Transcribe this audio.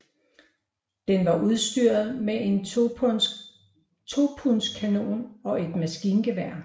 Den var udstyret med en 2 pundskanon og et maskingevær